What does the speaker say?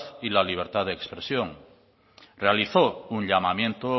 y la libertad de expresión realizó un llamamiento